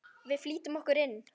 Við flýtum okkur inn.